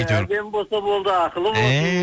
әдемі болса болды ақылы болсын эээ